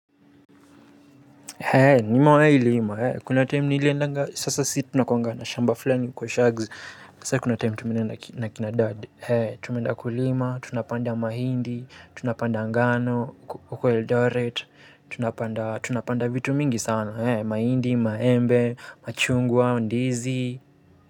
Eee, nimewahi lima, kuna time niliendanga, sasa si tunakuanga na shamba fulani huko shags, sa kuna time tumeenda na kina dad ee, tumeenda kulima, tunapanda mahindi, tunapanda ngano, huko Eldoret, tunapanda, tunapanda vitu mingi sana, ee, mahindi, maembe, machungwa, ndizi.